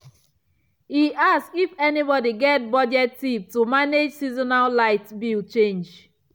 e ask if anybody get budget tip to manage seasonal light bill change.